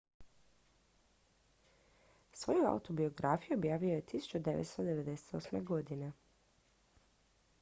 svoju autobiografiju objavio je 1998